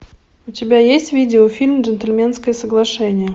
у тебя есть видеофильм джентльменское соглашение